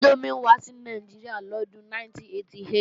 Índómì wá sí Nàìjíríà lọ́dún 1988